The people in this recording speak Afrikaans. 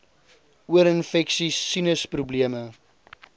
oorinfeksies sinus probleme